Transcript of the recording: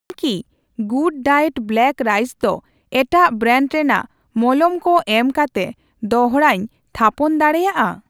ᱤᱧ ᱠᱤ ᱜᱩᱰᱰᱟᱭᱮᱴ ᱦᱮᱸᱫᱮ ᱪᱟᱣᱞᱮ ᱫᱚ ᱮᱴᱟᱜ ᱵᱨᱮᱱᱰ ᱨᱮᱱᱟᱜ ᱢᱚᱞᱚᱢ ᱠᱚ ᱮᱢᱠᱟᱛᱮ ᱫᱚᱲᱦᱟᱧ ᱛᱷᱟᱯᱚᱱ ᱫᱟᱲᱮᱭᱟᱜᱼᱟ?